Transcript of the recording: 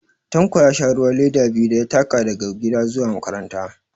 Tanko ya sha ruwa leda biyu da ya taka daga gida zuwa makaranta